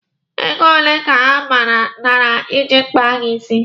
Ego ole ka ha nara iji kpaa gị isi?